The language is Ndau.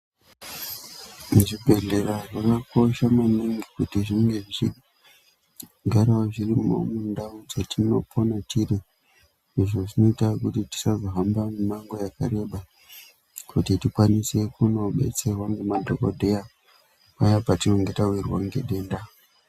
Zvibhedhlera zvakakosha maningi kuti zvinge zvichigarawo zvirimo mundau dzetinopona tiri. Izvi zvinoita kuti tisazohamba mimango yakareba kuti tikwanise kuzobetserwa ngemadhokodheya paya patinenge tawirwa ngedenda.